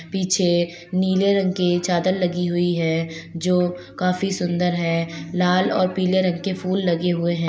पीछे नीले रंग की चादर लगी हुई है जो काफी सुंदर है लाल और पीले रंग के फूल लगे हुए है।